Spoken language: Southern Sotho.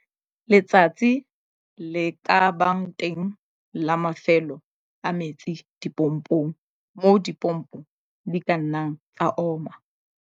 Letsatsi le ka bang teng la Mafelo a metsi dipompong, moo dimpopo di ka nnang tsa oma.